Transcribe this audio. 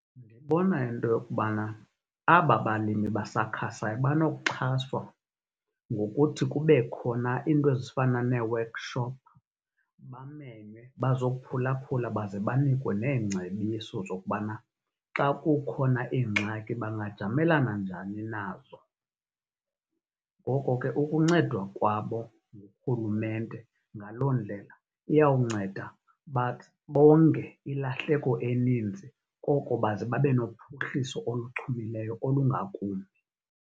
Ndibona into yokubana aba balimi basakhasayo banokuxhaswa ngokuthi kube khona into ezifana neewekhishophi bamemwe bazokuphulaphula baze banikwe neengcebiso zokubana xa kukhona iingxaki bangajamelana njani nazo. Ngoko ke, ukuncedwa kwabo ngurhulumente ngaloo ndlela, iyawunceda bonge ilahleko eninzi koko baze babe nophuhliso oluchumileyo olungakumbi.